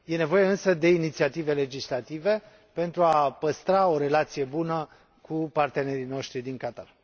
E nevoie însă de inițiative legislative, pentru a păstra o relație bună cu partenerii noștri din Qatar.